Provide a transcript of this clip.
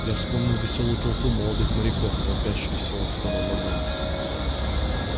я вспомнил весёлую толпу молодых моряков толпящуюся у входа в вагон